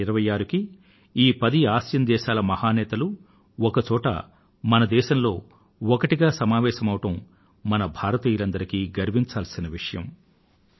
జనవరి 26 కి ఈ పది ఆసియాన్ దేశాల మహా నేతలు ఒక చోటులో మన దేశంలో ఏకమవడం మన భారతీయులందరికీ గర్వించదగిన విషయం